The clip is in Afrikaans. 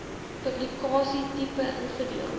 publikasie tipe ingedeel